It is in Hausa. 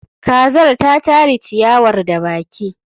kazar ta tari ciyawar da baki